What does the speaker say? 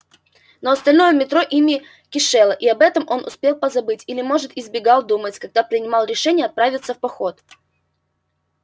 но остальное метро ими кишело и об этом он успел позабыть или может избегал думать когда принимал решение отправиться в поход